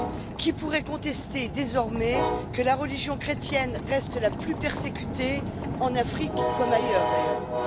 Qui pourrait contester désormais que la religion chrétienne reste la plus persécutée en Afrique, comme ailleurs du reste?